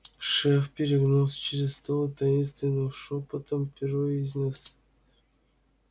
шеф перегнулся через стол и таинственным шёпотом произнёс